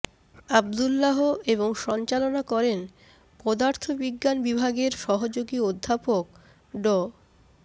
আব্দুল্লাহ এবং সঞ্চালনা করেন পদার্থবিজ্ঞান বিভাগের সহযোগী অধ্যাপক ড